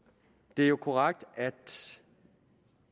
det er korrekt at